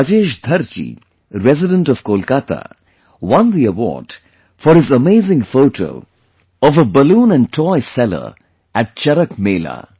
Rajesh Dharji, resident of Kolkata, won the award for his amazing photo of a balloon and toy seller at CharakMela